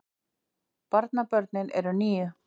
Barnabörnin eru níu